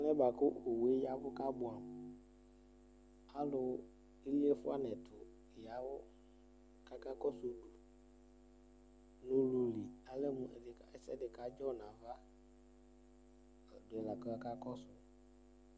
Alɛ buakʋ owue yavʋ kabuamuAlu iliefua nɛtu yavʋ kakakɔsʋ owue nʋ ululi alɛ mu ɛsɛdi kadzɔ navaDuyi kakakɔsu